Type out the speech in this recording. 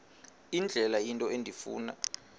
indlela into endifuna